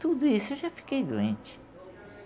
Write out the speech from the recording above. Tudo isso, eu já fiquei doente.